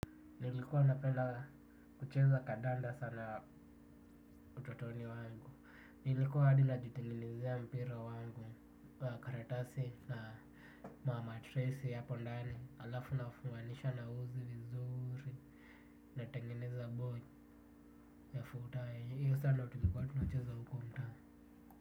Nilikuwa napenda kucheza kandanda sana utotoni wangu. Nilikuwa hadi najitengenezea mpira wangu wa karatasi na mamatresi hapo ndani halafu nafunganisha na uzi vizuri. Natengeneza ball ya futa. Hiyo saa ndio tulikuwa tunacheza huko mtaa.